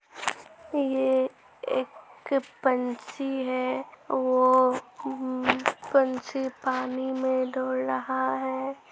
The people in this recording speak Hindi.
ये एक पंछी है वो उमं पंछी पानी में दौड़ रहा है |